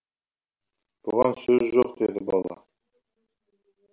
бұған сөз жоқ деді бала